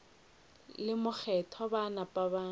le mokgethwa ba napa ba